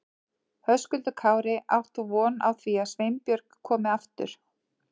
Höskuldur Kári: Átt þú von á því að Sveinbjörg komi aftur?